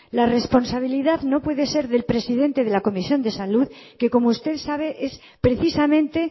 la responsabilidad no puede ser del presidente de la comisión de salud que como usted sabe es precisamente